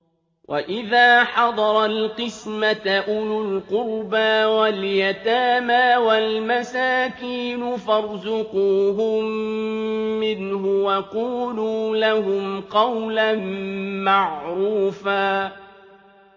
وَإِذَا حَضَرَ الْقِسْمَةَ أُولُو الْقُرْبَىٰ وَالْيَتَامَىٰ وَالْمَسَاكِينُ فَارْزُقُوهُم مِّنْهُ وَقُولُوا لَهُمْ قَوْلًا مَّعْرُوفًا